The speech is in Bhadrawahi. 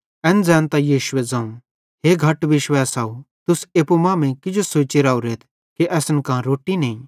एन ज़ैनतां यीशुए ज़ोवं हे घट विश्वैसव तुस एप्पू मांमेइं किजो सोची राओरेथ कि असन कां रोट्टी नईं